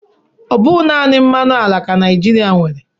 Ọ bụghị naanị mmanụ ala ka Naịjirịa nwere.